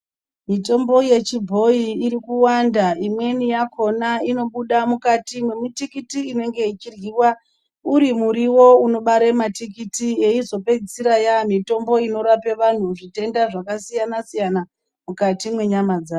Mitombo yechibhoyi iri kuwanda. Imweni yakona inobuda mukati mwemitikiti inenge ichiryiwa uri muriwo unobare matikiti yeizopedzisira yaamitombo inorapa vanthu zvitenda zvakasiyana siyana mukati mwenyama dzawo.